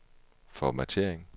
formattering